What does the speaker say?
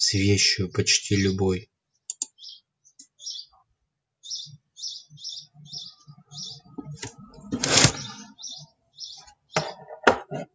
с вещью почти любой